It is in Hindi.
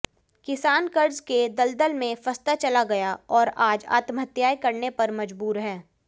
किसान कर्ज के दलदल में फंसता चला गया और आज आत्महत्याएं करने पर मजबूर है